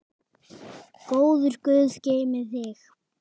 Góður guð geymi þig.